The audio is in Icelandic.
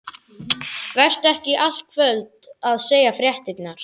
Vertu ekki í allt kvöld að segja fréttirnar.